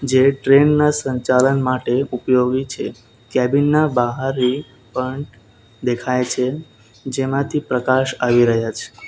ટ્રેનના સંચાલન માટે ઉપયોગી છે કેબિન ના બહારે પણ દેખાય છે જેમાંથી પ્રકાશ આવી રહ્યા છે.